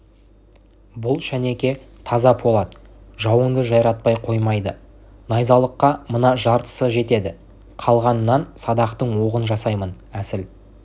бұл шенеке таза полат жауыңды жайратпай қоймайд найзалыққа мына жартысы жетед қалғанынан садақтың оғын жасаймын әсіл